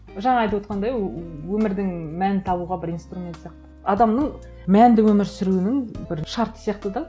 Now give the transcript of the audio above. жаңа айтып отырғандай ыыы өмірдің мәнін табуға бір инструмент сияқты адамның мәнді өмір сүруінің бір шарты сияқты да